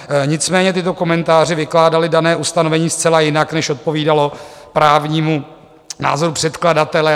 Nicméně tyto komentáře vykládaly dané ustanovení zcela jinak, než odpovídalo právnímu názoru předkladatele.